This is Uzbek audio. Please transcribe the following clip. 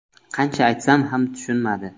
Qancha aytsam ham tushunmadi.